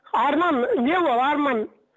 арман не ол арман